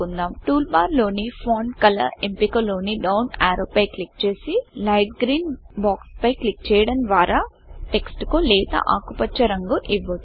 టూల్బార్లోని font Colorఫాంట్ colour ఎంపికలోని down arrow పై క్లిక్ చేసి లైట్ greenలైట్ గ్రీన్ బాక్స్ పై క్లిక్ చేయడం ద్వార టెక్స్ట్ కులేత ఆకుపచ్చ రంగు ఇవ్వచ్చు